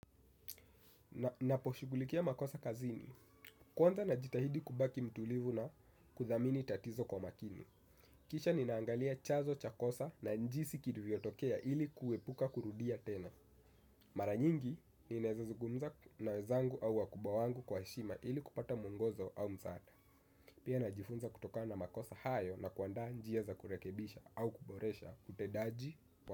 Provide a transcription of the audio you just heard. Naposhigulikia makosa kazini. Kwanza na jitahidi kubaki mtulivu na kuthamini tatizo kwa makini. Kisha ninaangalia chanzo cha kosa na jinsi kilivyotokea ili kuepuka kurudia tena. Maranyingi ninaezazuugumza nawezangu au wakubwa wangu kwa heshima ili kupata muongozo au msaada. Pia na jifunza kutoka na makosa hayo na kuandaa njia za kurekebisha au kuboresha utendaji.